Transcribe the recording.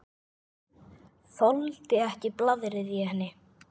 Þoldi ekki blaðrið í henni.